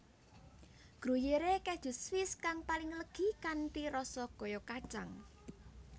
Gruyère Keju Swiss kang paling legi kanthi rasa kaya kacang